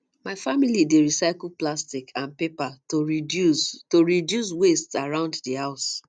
my family dey recycle plastic and paper to reduce to reduce waste around the house